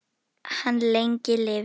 Hann lengi lifi.